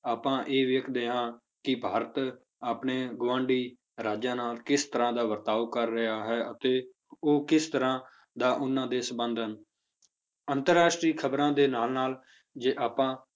ਆਪਾਂ ਇਹ ਵੇਖਦੇ ਹਾਂ ਕਿ ਭਾਰਤ ਆਪਣੇ ਗੁਆਂਢੀ ਰਾਜਾਂ ਨਾਲ ਕਿਸ ਤਰ੍ਹਾਂ ਦਾ ਵਰਤਾਓ ਕਰ ਰਿਹਾ ਹੈ ਅਤੇ ਉਹ ਕਿਸ ਤਰ੍ਹਾਂ ਦਾ ਉਹਨਾਂ ਦੇ ਸੰਬੰਧ ਹਨ ਅੰਤਰ ਰਾਸ਼ਟਰੀ ਖ਼ਬਰਾਂ ਦੇ ਨਾਲ ਨਾਲ ਜੇ ਆਪਾਂ